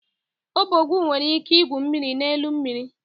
Ọbọgwụ nwere ike igwu mmiri n'elu mmiri.